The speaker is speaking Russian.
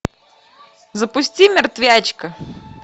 запусти мертвячка